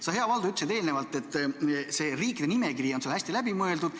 Sa, hea Valdo, ütlesid eelnevalt, et see riikide nimekiri on sul hästi läbi mõeldud.